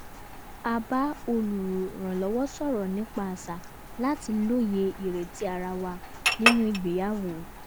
a bá olùrànlọ́wọ́ sọrọ nípa àṣà láti lóye ireti ara wa nínú ìgbéyàwó